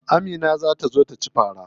Amina za ta zo taci fara.